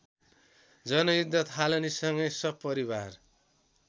जनयुद्ध थालनीसँगै सपरिवार